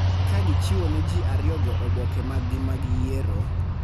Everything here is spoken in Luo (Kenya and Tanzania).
Ka gichiwo ne ji ariyogo oboke mag-gi mag yiero,